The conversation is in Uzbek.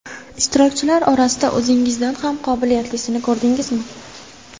Ishtirokchilar orasida o‘zingizdan ham qobilyatlisini ko‘rdingizmi?